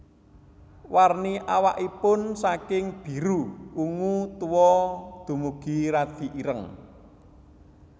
Warni awakipun saking biru ungu tua dumugi radi ireng